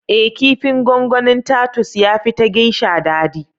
Ee kifin gongonin Tatus ya fi ta Geisha dadi